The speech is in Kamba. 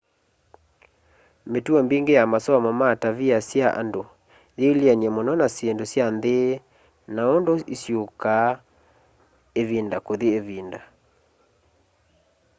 mitũo mbingi ya masomo ma tavia sya andũ yiilyene mũno na syĩndũ sya nthi na undũ isyũkaa ivinda kũthi ĩvinda